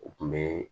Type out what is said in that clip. O kun bɛ